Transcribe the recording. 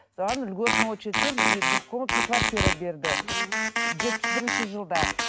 соған льготный очередьпен и двухкомнатный квартира берді жетпіс бірінші жылда